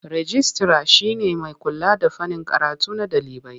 Rijistira shi ne mai kula da fannin karatu na ɗalibai.